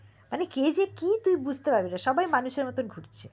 কে তুই বুঝতে পারবিনা সবাই মানুষের মতো ঘুরছে